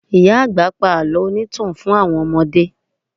Ìyá àgbà pa àlọ́ onítàn fún àwọn ọmọdé